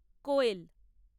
কোয়েল